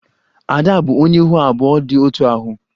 Ada bụ onye ihu abụọ dị otú ahụ